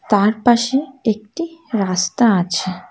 তার পাশে একটি রাস্তা আছে।